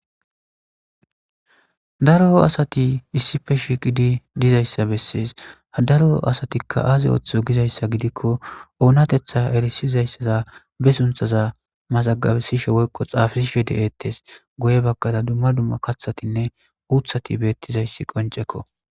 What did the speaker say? daro asati issife shiiqidi dizayssa bessees ha daro asatikka aazi ooththo gizayssa gidikko oonatetha erisizayssaza be sunthaza mazagabesishe woykko xaafsishe de7ettes goye baggada dumma dumma kathatinne uuthati beettizayssi qoncekko